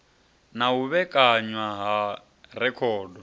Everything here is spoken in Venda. na u vhekanywa ha rekhodo